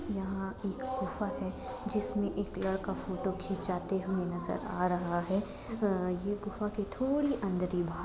यहां एक गुफा है जिसमे एक लड़का फोटो खिचाते हुए नजर आ रहा हैं ये गुफा के थोड़ी अंदर ही --